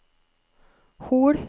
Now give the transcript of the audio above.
Hol